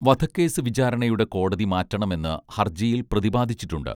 വധക്കേസ് വിചാരണയുടെ കോടതി മാറ്റണമെന്ന് ഹർജിയിൽ പ്രതിപാദിച്ചിട്ടുണ്ട്